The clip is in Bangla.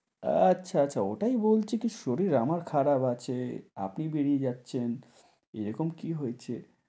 আচ্ছা আচ্ছা ওটাই বলছি কে শরীর আমার খারাপ আছে, আপনি বেড়িয়ে যাচ্ছেন এরকম কী হয়েছে।